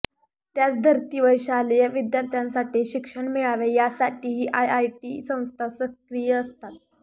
त्याच धर्तीवर शालेय विद्यार्थ्यांसाठी शिक्षण मिळावे यासाठीही आयआयटी संस्था सक्रिय असतात